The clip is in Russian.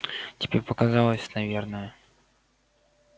тебе показалось наверное